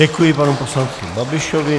Děkuji panu poslanci Babišovi.